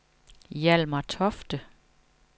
Hjalmar Tofte